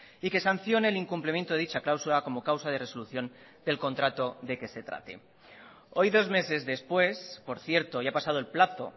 y que sancione el incumplimiento de dicha cláusula como causa de resolución del contrato de que se trate hoy dos meses después por cierto hoy ha pasado el plazo